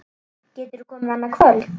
Geturðu komið annað kvöld?